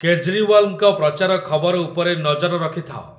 କେଜ୍ରିୱାଲ୍‌ଙ୍କ ପ୍ରଚାର ଖବର ଉପରେ ନଜର ରଖିଥାଅ